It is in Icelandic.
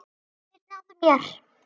Þeir náðu mér.